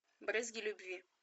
брызги любви